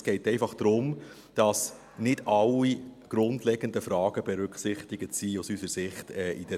Es geht einfach darum, dass aus unserer Sicht in der Planung nicht alle grundlegenden Fragen berücksichtigt sind.